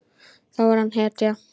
Þá er hann hetja.